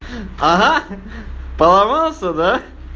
ага поломался да